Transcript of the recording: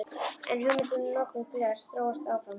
En hugmyndin um notkun glers þróast áfram.